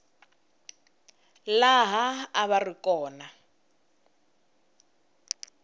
laha a va ri kona